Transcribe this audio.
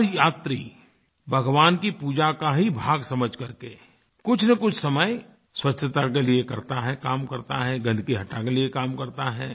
हर यात्री भगवान की पूजा का ही भाग समझ करके कुछनकुछ समय स्वच्छता के लिए करता है काम करता है गन्दगी हटाने के लिए काम करता है